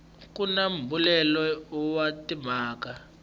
ku na mbuyelelo wa timhaka